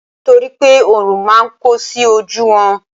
nitoripe orun ma n ko sí oju won